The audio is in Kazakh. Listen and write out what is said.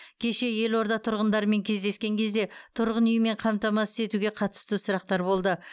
кеше елорда тұрғындарымен кездескен кезде тұрғын үймен қамтамасыз етуге қатысты сұрақтар болды